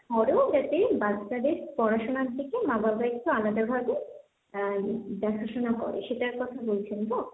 পরেও যাতে বাচ্চাদের পড়াশোনার দিকে মা বাবা একটু আলাদা ভাবে আ দেখাশোনা করে সেটার কথা বলছেন তো?